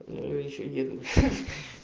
ещё неделю